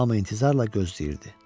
Hamı intizarla gözləyirdi.